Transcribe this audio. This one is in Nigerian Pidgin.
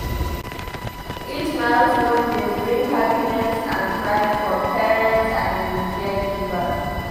Each milestone dey bring happiness and pride for parents and caregivers.